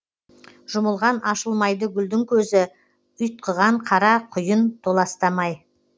жұмылған ашылмайды гүлдің көзі ұйтқыған қара құйын толастамай